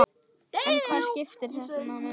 En hvað skýrir þennan mun?